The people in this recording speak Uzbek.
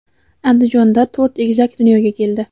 Andijonda to‘rt egizak dunyoga keldi.